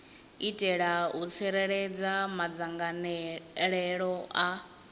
itela u tsireledza madzangalelo a